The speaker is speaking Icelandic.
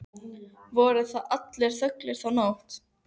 Voru þar allir þögulir þá nótt.